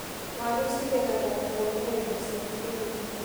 Waru cigethagwo kũhũthĩra indo cia kĩrĩu.